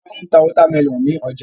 Wọ́n máa ń ta wọ́támẹlọ̀n ní ọjà.